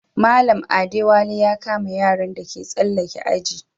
Mallam Adewale ya kama yaran da ke tsalaken aji.